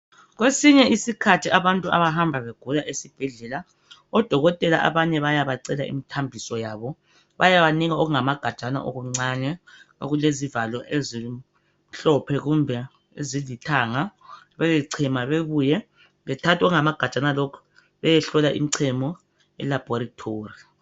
Kwesinye isikhathi abantu abahamba begula esibhedlela. Odokotela abanye, bayabacela imithambiso yabo. Bayabanika okungamagajana okuncane. Okulezivalo ezimhlophe, kumbe ezilithanga. Beyechema, bebuye. Bethathe okungamagajana okhu, bayehlola imichemo, eLaboratory.